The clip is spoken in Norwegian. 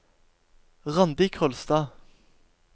Randi Kolstad